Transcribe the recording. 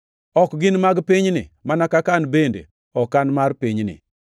Ok gin mag pinyni, mana kaka an bende ok an mar pinyni.